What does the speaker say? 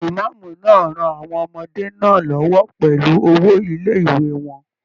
Imaamu náà rán àwọn ọmọdé náà l'ọwọ pẹlú owo ilé-ìwé wọn.